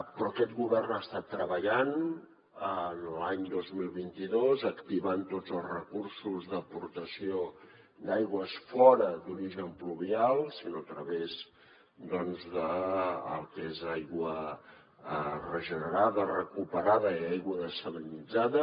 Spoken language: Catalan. però aquest govern ha estat treballant l’any dos mil vint dos activant tots els recursos d’aportació d’aigües fora d’origen pluvial a través del que és aigua regenerada recuperada i aigua dessalinitzada